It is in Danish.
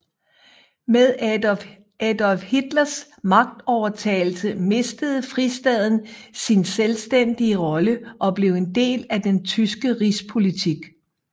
Med Adolf Hitlers magtovertagelse mistede fristaten sin selvstændige rolle og blev en del af den tyske rigspolitik